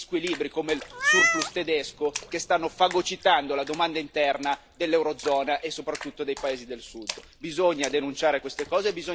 Non è questo il modo di bilanciare quegli squilibri, come il surplus tedesco, che stanno fagocitando la domanda interna dell'eurozona e soprattutto dei paesi del Sud.